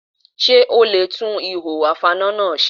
Ṣé o le e tún ihò ìfaná náà se?